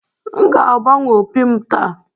M ga-agbanwe opi m taa